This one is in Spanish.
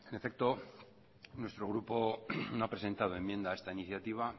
en efecto nuestro grupo no ha presentado enmienda a esta iniciativa